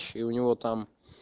и у него там